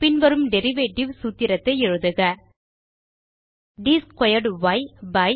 பின் வரும் டெரிவேட்டிவ் சூத்திரத்தை எழுதுக ட் ஸ்க்வேர்ட் ய் பை